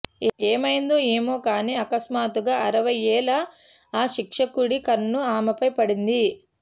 ఏమైందో ఏమో కానీ అకస్మాత్తుగా అరవై ఏళ్ల ఆ శిక్షకుడి కన్ను ఆమెపై పడింది